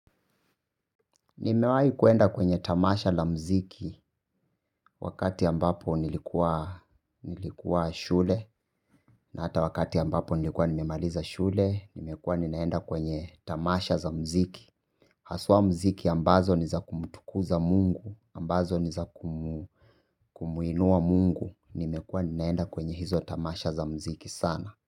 Nimewai kuenda kwenye tamasha la mziki wakati ambapo nilikuwa shule na hata wakati ambapo nilikuwa nimemaliza shule, nimekuwa ninaenda kwenye tamasha za mziki. Haswa mziki ambazo ni za kumtukuza mungu, ambazo ni za kumuinua mungu, nimekuwa ninaenda kwenye hizo tamasha za mziki sana.